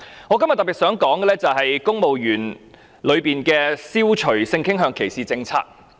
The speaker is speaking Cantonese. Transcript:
我今天特別想說的是，涉及公務員的消除性傾向歧視政策。